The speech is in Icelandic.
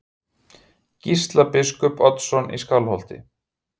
Gísla biskup Oddsson í Skálholti.